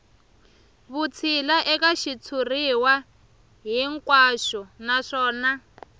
vutshila eka xitshuriwa hinkwaxo naswona